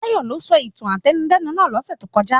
Tayọ ló sọ ìtàn átẹnudẹ́nu náà lọ́sẹ̀ tó kọjá.